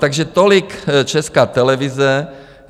Takže tolik Česká televize.